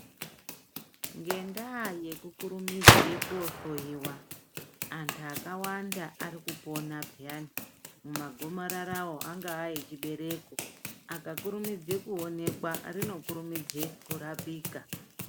Ngendaa yekukurumidza kohloiwa antu akawanda arikupona piyani mumagomararawo angaa echibereko rikakurumidza kuonekwa rinorapika.